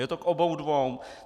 Je to k oboum dvoum.